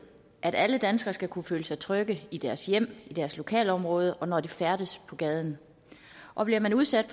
at alle danskere skal kunne føle sig trygge i deres hjem i deres lokalområde og når de færdes på gaden og bliver man udsat